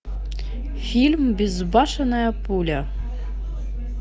фильм безбашенная пуля